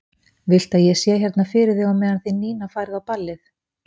Viltu að ég sé hérna fyrir þig á meðan þið Nína farið á ballið?